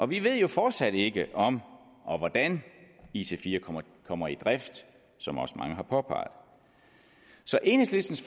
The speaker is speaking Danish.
vi ved jo fortsat ikke om og hvordan ic4 kommer i drift som også mange har påpeget så enhedslistens